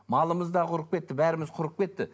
малымыз да құрып кетті бәріміз құрып кетті